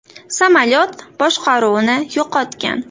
Samolyot boshqaruvni yo‘qotgan.